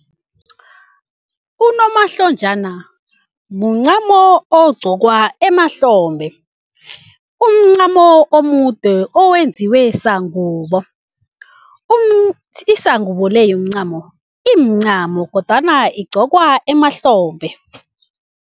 Unomahlonjana muncamo ogqokwa emahlombe. Umncamo omude owenziwe sangubo, isangubo le yomncamo imincamo kodwana igqokwa emahlombe.